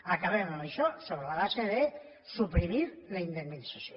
acabem amb això sobre la base de suprimir la indemnització